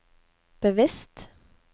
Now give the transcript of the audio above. bevisst